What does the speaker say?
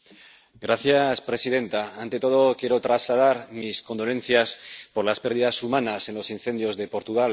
Señora presidenta, ante todo quiero trasladar mis condolencias por las pérdidas humanas en los incendios de Portugal.